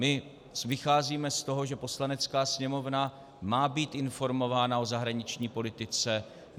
My vycházíme z toho, že Poslanecká sněmovna má být informována o zahraniční politice.